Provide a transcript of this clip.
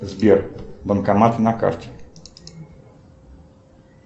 сбер банкоматы на карте